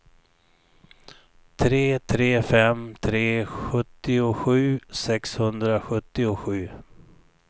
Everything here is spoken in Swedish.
tre tre fem tre sjuttiosju sexhundrasjuttiosju